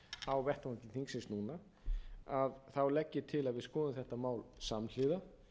á vettvangi þingsins núna þá legg til til að við skoðum þetta mál samhliða